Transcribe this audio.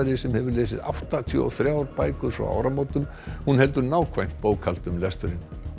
sem hefur lesið áttatíu og þrjár bækur frá áramótum hún heldur nákvæmt bókhald um lesturinn